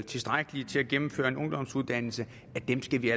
tilstrækkelige til at gennemføre en ungdomsuddannelse skal vi